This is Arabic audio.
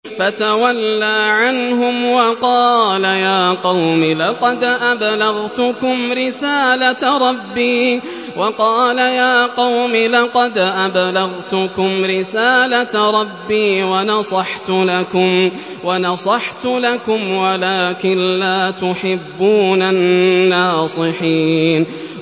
فَتَوَلَّىٰ عَنْهُمْ وَقَالَ يَا قَوْمِ لَقَدْ أَبْلَغْتُكُمْ رِسَالَةَ رَبِّي وَنَصَحْتُ لَكُمْ وَلَٰكِن لَّا تُحِبُّونَ النَّاصِحِينَ